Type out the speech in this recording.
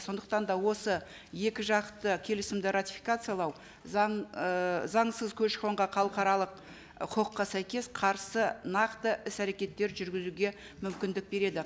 сондықтан да осы екі жақты келісімді ратификациялау заң ы заңсыз көші қонға халықаралық і құқыққа сәйкес қарсы нақты іс әрекеттер жүргізуге мүмкіндік береді